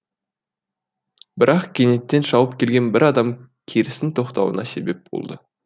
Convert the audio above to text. бірақ кенеттен шауып келген бір адам керістің тоқтауына себеп болды